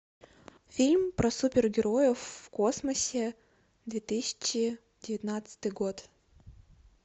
фильм про супергероев в космосе две тысячи девятнадцатый год